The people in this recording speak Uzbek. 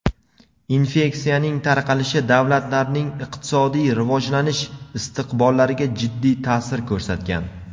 infeksiyaning tarqalishi davlatlarning iqtisodiy rivojlanish istiqbollariga jiddiy ta’sir ko‘rsatgan.